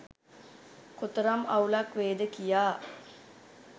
කොතරම් අවුලක් වේද කියා